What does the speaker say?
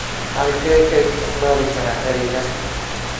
halkee ka isticmaali karaa eraygan